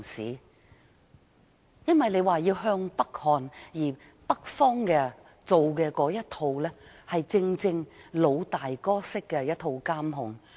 由於當局說要向北看，而北方的那一套正是"老大哥式"的監控。